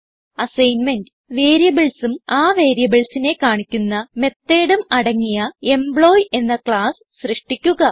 assignment variables ഉം ആ variables നെ കാണിക്കുന്ന മെത്തോട് ഉം അടങ്ങിയ എംപ്ലോയി എന്ന ക്ലാസ്സ് സൃഷ്ടിക്കുക